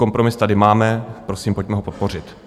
Kompromis tady máme, prosím, pojďme ho podpořit.